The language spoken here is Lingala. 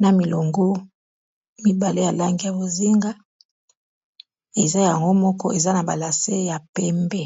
na milongo mibale ya langi ya bozinga eza yango moko eza na ba lase ya pembe.